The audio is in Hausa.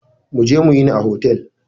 Mu je mu yini a hotel.